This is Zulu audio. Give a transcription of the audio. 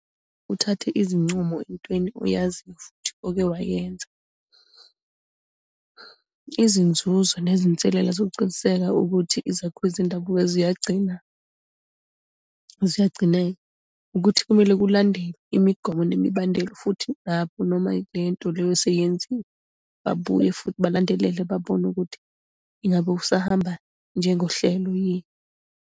Uthathe izincumo entweni oyaziyo futhi oke wayenza. Izinzuzo nezinselela ezokuciniseka ukuthi izakhiwo zendabuko ziyagcina ziyagcineka. Ukuthi kumele kulandelwe imigomo nemibandela, futhi lapho noma lento leyo seyenziwa babuye futhi balandelele babone ukuthi ingabe usahamba njengo hlelo yini.